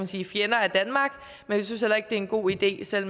sige fjender af danmark men vi synes heller ikke det er en god idé selv